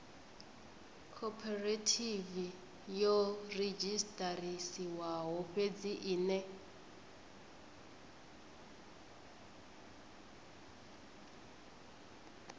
khophorethivi yo redzhisiṱarisiwaho fhedzi ine